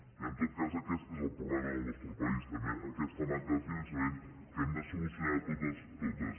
i en tot cas aquest és el problema del nostre país també aquesta manca de finançament que hem de solucionar de totes totes